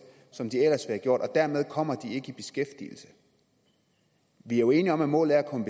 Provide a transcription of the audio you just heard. som de ellers ville have gjort og dermed kommer de ikke i beskæftigelse vi er jo enige om at målet er at komme